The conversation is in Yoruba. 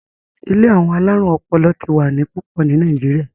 ilé àwọn alarun ọpọlọ tí wá ní pupo ní Nàìjíríà